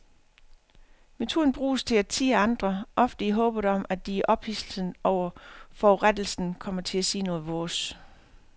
Metoden bruges til at tirre andre, ofte i håbet om at de i ophidselsen over forurettelsen kommer til at sige noget vås.